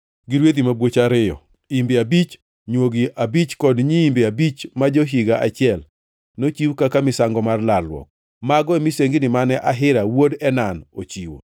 gi rwedhi mabwoch ariyo, imbe abich, nywogi abich kod nyiimbe abich ma jo-higa achiel, nochiw kaka misango mar lalruok. Mago e misengini mane Ahira wuod Enan ochiwo.